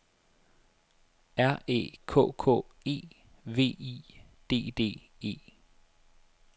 R Æ K K E V I D D E